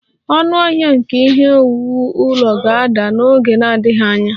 Ọnụahịa nke ihe owuwu ụlọ ga-ada n'oge na-adịghị anya